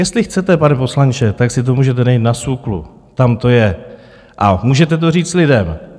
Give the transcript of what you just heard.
Jestli chcete, pane poslanče, tak si to můžete najít na SÚKLu, tam to je, a můžete to říct lidem.